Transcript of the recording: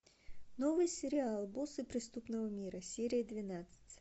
новый сериал боссы преступного мира серия двенадцать